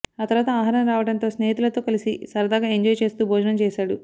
ఆ తర్వాత ఆహారం రావడంతో స్నేహితులతో కలిసి సరదాగా ఎంజాయ్ చేస్తూ భోజనం చేశాడు